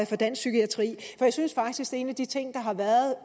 for dansk psykiatri for jeg synes faktisk at en af de ting der har været